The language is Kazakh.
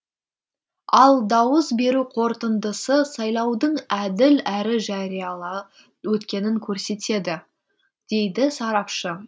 ал дауыс беру қорытындысы сайлаудың әділ әрі жариялы өткенін көрсетеді дейді сарапшы